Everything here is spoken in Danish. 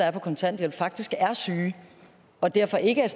er på kontanthjælp faktisk er syge og derfor ikke er